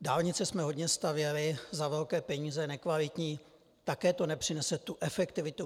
Dálnice jsme hodně stavěli za velké peníze, nekvalitní, také to nepřinese tu efektivitu.